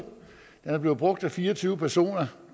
er blevet brugt af fire og tyve personer